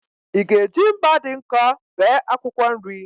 Ị ga-eji mma dị nkọ bee akwụkwọ nri?